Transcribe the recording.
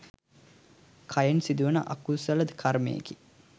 කයෙන් සිදුවන අකුසල කර්මයකි.